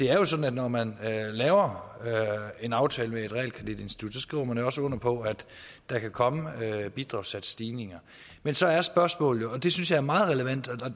er sådan at når man laver en aftale med et realkreditinstitut skriver man også under på at der kan komme bidragssatsstigninger men så er spørgsmålet jo og det synes jeg er meget relevant